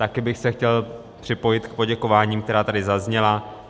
Taky bych se chtěl připojit k poděkováním, která tady zazněla.